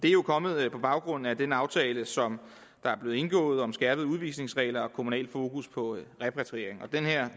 er jo kommet på baggrund af den aftale som der er blevet indgået om skærpede udvisningsregler og kommunalt fokus på repatriering og